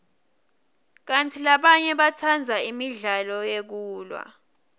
kantsi labanye batsandza imidlalo yekulwa